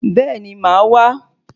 Béèni màá wá